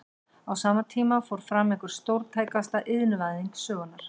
Á sama tíma fór fram einhver stórtækasta iðnvæðing sögunnar.